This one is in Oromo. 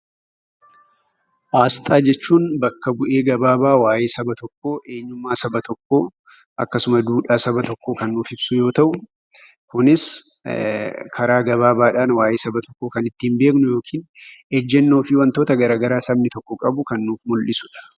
Asxaa jechuun bakka bu'ee gabaabaa waa'ee saba tokkoo, eenyummaa saba tokkoo akkasuma duudhaa saba tokkoo kan nuuf ibsu yoo ta'u, kunis karaa gabaabaadhaan waa'ee saba tokkoo kan ittiin beeknu yookiin ejjennoo fi wantoota gara garaa sabni tokko qabu kan nuuf mul'isu dha.